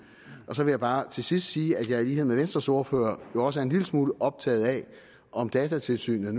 jeg vil bare til sidst sige at jeg i lighed med venstres ordfører også er en lille smule optaget af om datatilsynet